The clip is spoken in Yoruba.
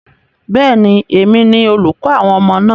Bẹ́ẹ̀ni, èmi ni olùkọ́ àwọn ọmọ náà.